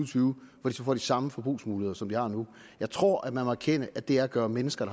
tyve hvor de så får de samme forbrugsmuligheder som de har nu jeg tror man må erkende at det er at gøre mennesker